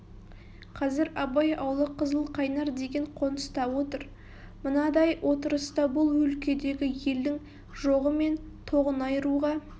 қазір абай аулы қызылқайнар деген қоныста отыр мынадай отырыста бұл өлкедегі елдің жоғы мен тоғын айыруға